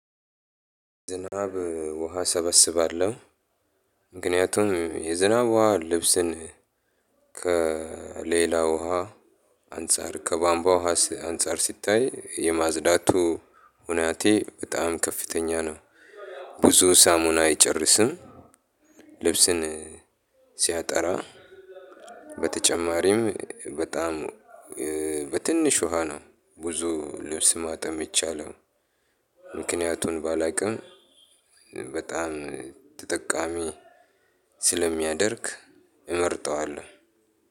ዝናብ ውሃ እሰበስባለሁ ምክንያቱም የዝናብ ውሃ ልብስን ከሌላ ውሃ አንፃር ከቧምቧ ውሃ አንፃር ሲታይ የማዝዳቱ ሁናቴ በጣም ከፍተኛ ነው። ብዙ ሳሙና አይጨርስም። ልብስን ሲያጠራ። በተጨማሪም በጣም በትንሽ ውሃ ነው ብዙ ልብስ ማጠብ የሚቻለው። ምክንያቱን ባላውቅም በጣም ተጠቃሚ ስለሚያደርግ እመርጠዋለሁ።